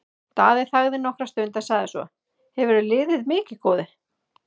Daði þagði nokkra stund en sagði svo:-Hefurðu liðið mikið, góði?